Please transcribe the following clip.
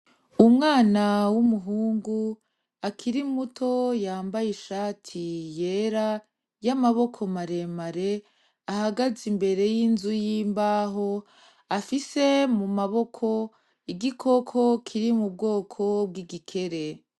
Umwana w'umuhungu akiri muto yambaye ishati yera y'amaboko maremare ahagaze imbere y'inzu y'imbaho afise mu maboko igikoko kiri mu bwoko bw'igikere.